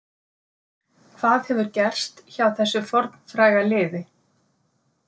Hvað hefur gerst hjá þessu fornfræga liði?